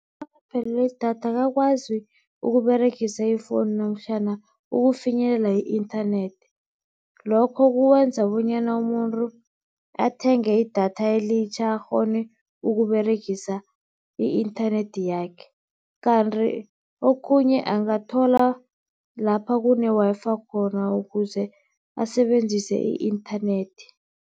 Nawuphelelwe yidatha akakwazi ukUberegisa i-phone namtjhana ukufinyelela i-internet. Lokho kwenza bonyana umuntu athenge idatha elitjha akghone ukUberegisa i-inthanethi yakhe. Kanti okhunye angathola lapha kune Wi-Fi khona ukuze asebenzise i-inthanethi.